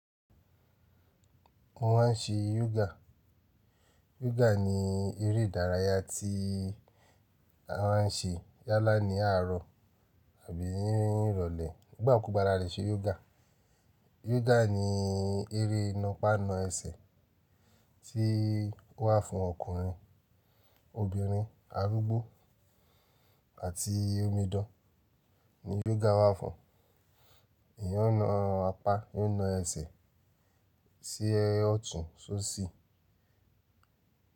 Mo ma n ṣe yoga. Yoga ni eré ìdárayá tí a ma n ṣe yálà ní àárọ̀ àbí ní ìrọ̀lẹ́ nígbà kú gba la lẹ́ se yoga. Yoga ni eré napa nọ ẹsẹ̀ tí ó wà fún ọkùnrin, obìnrin, arúgbó àti omi idan ni yoga wà fún. Èèyàn náà a pa, yóò na ẹsẹ̀ sí ẹyẹ ọ̀tún sóṣì.